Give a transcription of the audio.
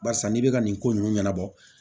Barisa n'i bɛ ka nin ko ninnu ɲɛnabɔ